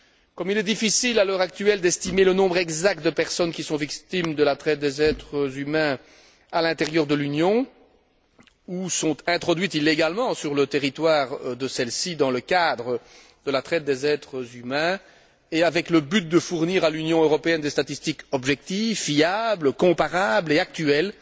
Comme il est difficile, à l'heure actuelle, d'estimer le nombre exact de personnes qui sont victimes de la traite des êtres humains à l'intérieur de l'Union, ou sont introduites illégalement sur son territoire dans le cadre de la traite des êtres humains, et avec le but de fournir à l'Union européenne des statistiques objectives, fiables, comparables et actuelles,